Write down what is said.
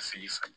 Fili san